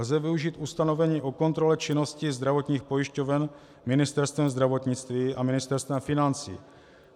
Lze využít ustanovení o kontrole činnosti zdravotních pojišťoven Ministerstvem zdravotnictví a Ministerstvem financí.